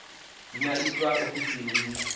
dzi nga itwa ofisini i